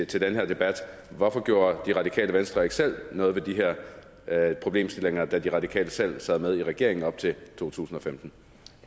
til den her debat hvorfor gjorde radikale venstre ikke selv noget ved de her problemstillinger da de radikale selv sad med i regeringen op til 2015